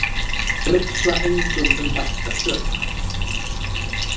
Brigsla engum um bætta sök.